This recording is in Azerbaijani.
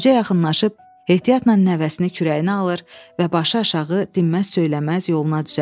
Qoca yaxınlaşıb ehtiyatla nəvəsini kürəyinə alır və başıaşağı dinməz söyləməz yoluna düzəlir.